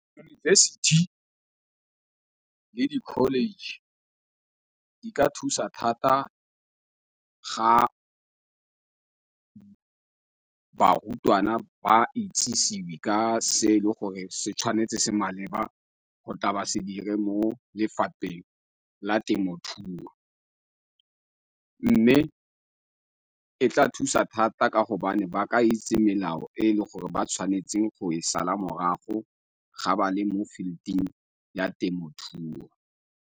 University le di-college di ka thusa thata ga barutwana ba itsisiwe ka se e le gore se tshwanetse se maleba go tla ba se dire mo lefapheng la temothuo. Mme e tla thusa thata ka gobane ba ka itse melao e e le gore ba tshwanetseng go e sala morago ga ba le mo field-ing ya temothuo.